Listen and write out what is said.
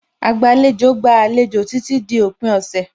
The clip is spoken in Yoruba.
Agbàlejò gba àlejò títí di òpin ọ̀sẹ̀.